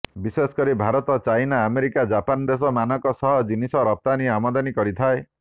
ବିଶେଷକରି Bharat China America Japan ଦେଶ ମାନଙ୍କ ସହ ଜିନିଷ ରପ୍ତାନି ଆମଦାନୀ କରିଥାଏ